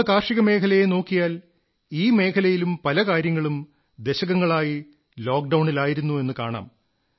നമ്മുടെ കാർഷികമേഖലയെ നോക്കിയാൽ ഈ മേഖലയിലും പല കാര്യങ്ങളും ദശകങ്ങളായി ലോക്ഡൌണിലായിരുന്നു എന്നു കാണാം